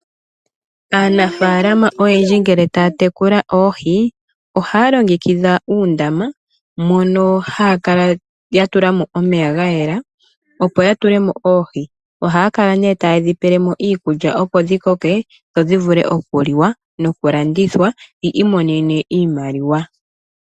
Aanafaalama oyendji ngele taya tekula oohi, ohaya longekidha uundama mono haya kala yatulamo omeya gayela opo yatule mo oohi. Ohaya kala tayedhi pelemo iikulya opo dhi koke, dho dhivule okuliwa nokulandithwa , yiimonene iimaliwa.